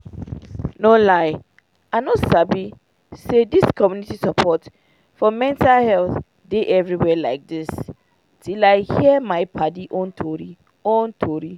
no lie i no sabi say dis community support for mental health dey everywhere like dis till i hear my padi own tori own tori